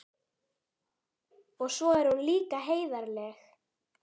Og svo er hún líka heiðarleg.